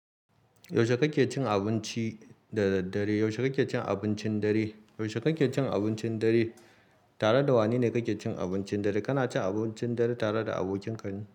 Yaushe kake cin abinci da daddare? Yaushe kake cin abincin dare? Yaushe kake cin abincin dare? Tare da wane ne ka ke cin abincin dare? Kana cin abuncin dare tare da abokinka ne?